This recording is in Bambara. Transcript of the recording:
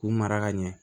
K'u mara ka ɲɛ